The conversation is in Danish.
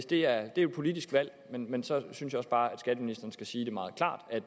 det er jo et politisk valg men så synes jeg også bare at skatteministeren skal sige meget klart at